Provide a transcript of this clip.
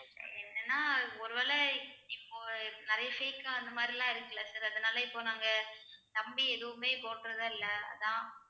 என்னன்னா ஒருவேளை இப்போ நிறைய fake ஆ அந்த மாதிரிலாம் இருக்குல்ல sir அதனால இப்ப நாங்க நம்பி எதுவுமே போடறதா இல்ல அதான்